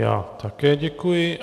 Já také děkuji.